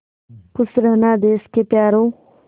खुश रहना देश के प्यारों